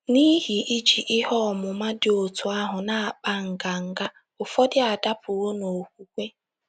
N’ihi iji ihe ọmụma dị otú ahụ na - akpa nganga, ụfọdụ adapụwo n’okwukwe. ”